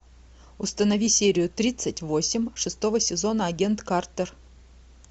установи серию тридцать восемь шестого сезона агент картер